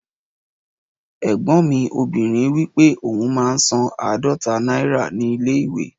Ẹ̀gbọ́n mi obìnrin wípé òun máa ń san aadọta náírà ní ilé ìwé